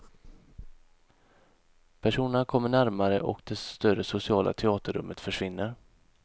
Personerna kommer närmare och det större sociala teaterrummet försvinner.